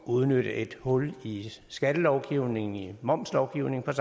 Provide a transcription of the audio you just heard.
udnytte et hul i skattelovgivningen i momslovgivningen